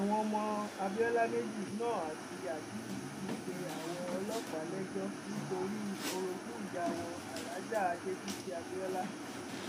àwọn ọmọ abiola méjì knorr àti aliyu ti pe àwọn ọlọpàá lẹjọ nítorí orogún ìyá wọn aláàjá adébísí abiola